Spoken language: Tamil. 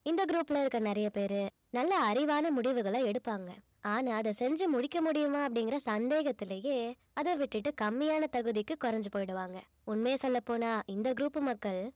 இந்த group ல இருக்க நிறைய பேரு நல்ல அறிவான முடிவுகளை எடுப்பாங்க ஆனா அத செஞ்சு முடிக்க முடியுமா அப்படிங்கிற சந்தேகத்திலேயே அத விட்டுட்டு கம்மியான தகுதிக்கு குறைஞ்சு போயிடுவாங்க உண்மைய சொல்லப் போனா இந்த group மக்கள்